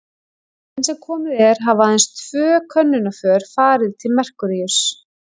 Enn sem komið er hafa aðeins tvö könnunarför farið til Merkúríuss.